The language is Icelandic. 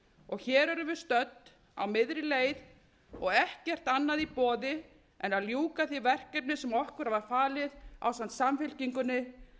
og hér erum við stödd á miðri leið og ekkert annað í boði en að ljúka því verkefni sem okkur var falið ásamt samfylkingunni